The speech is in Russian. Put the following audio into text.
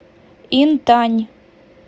интань